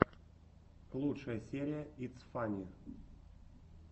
лучшая серия итс фанне